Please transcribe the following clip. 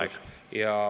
Aeg!